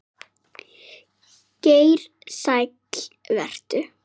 Geir Sæll vertu.